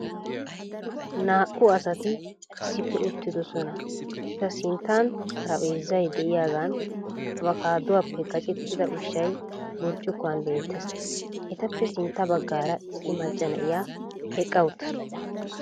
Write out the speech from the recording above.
Naa"u asati issippe uttiddossona. Eta sinttan xarpheezzay de'iyagan abkkaaduwappe gaaccettida ushshay burkuwan beettees. Etappe sintta baggaara issi macca na'iya eqqa uttaasu.